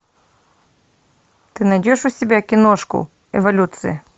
ты найдешь у себя киношку эволюция